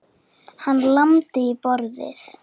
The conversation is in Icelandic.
Hann lamdi í borðið.